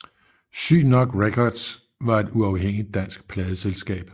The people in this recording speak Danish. Syg Nok Records var et uafhængigt dansk pladeselskab